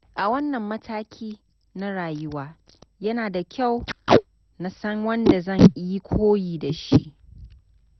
A wannan mataki na rayuwa, yana da kyau na san wanda zan yi koyi da shi.